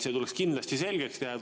See tuleks kindlasti selgeks teha.